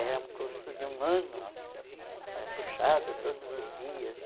Era um curso de um ano, né puxado todos os dias.